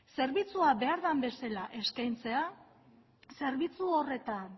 zerbitzua behar den bezala eskaintzea zerbitzu horretan